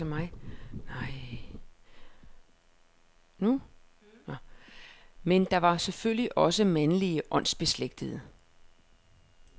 Men der var selvfølgelig også mandlige åndsbeslægtede.